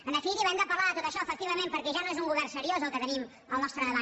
en definitiva hem de parlar de tot això efectivament perquè ja no és un govern seriós el que tenim al nostre davant